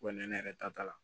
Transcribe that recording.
Wa ne yɛrɛ ta t'a la